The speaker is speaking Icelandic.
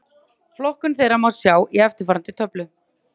Flokkun þeirra má sjá í eftirfarandi töflu: